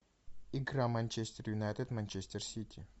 игра манчестер юнайтед манчестер сити